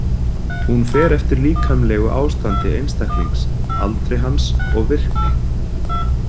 Hún fer eftir líkamlegu ástandi einstaklings, aldri hans og virkni.